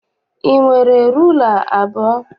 I nwere rula abụọ?